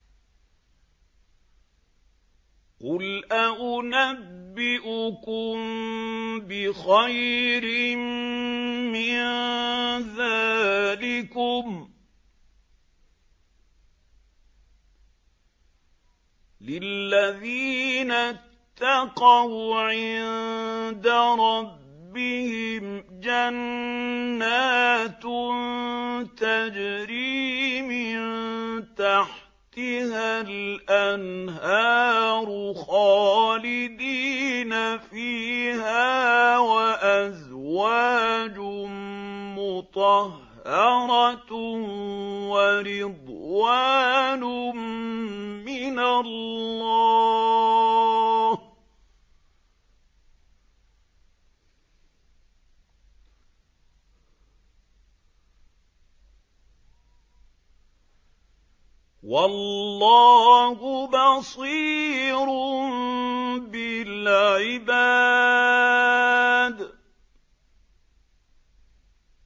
۞ قُلْ أَؤُنَبِّئُكُم بِخَيْرٍ مِّن ذَٰلِكُمْ ۚ لِلَّذِينَ اتَّقَوْا عِندَ رَبِّهِمْ جَنَّاتٌ تَجْرِي مِن تَحْتِهَا الْأَنْهَارُ خَالِدِينَ فِيهَا وَأَزْوَاجٌ مُّطَهَّرَةٌ وَرِضْوَانٌ مِّنَ اللَّهِ ۗ وَاللَّهُ بَصِيرٌ بِالْعِبَادِ